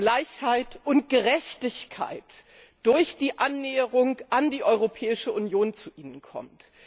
Gleichheit und Gerechtigkeit durch die Annäherung an die Europäische Union zu ihnen kommt.